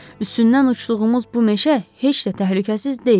Üstündən uçduğumuz bu meşə heç də təhlükəsiz deyil.